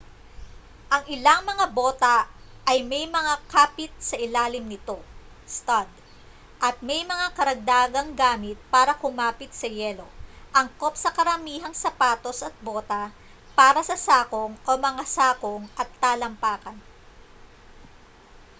ang ilang mga bota ay may mga kapit sa ilalim nito stud at may mga karagdagang gamit para kumapit sa yelo angkop sa karamihang sapatos at bota para sa sakong o mga sakong at talampakan